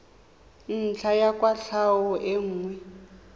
ntlha ya kwatlhao e nngwe